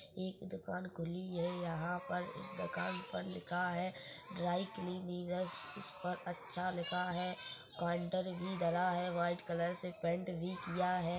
एक दुकान खुली हैं यहाँ पर इस दुकान पर लिखा हैं ड्राइक्लीनिंरस इस पर अच्छा लिखा हैं क्वांटर भी डला हैं व्हाइट कलर से पेंट भी किया हैं।